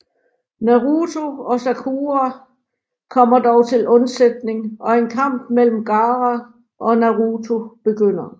Naruto og Sakura kommer dog til unsætning og en kamp imellem Gaara og Naruto begynder